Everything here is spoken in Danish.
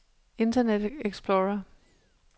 internet explorer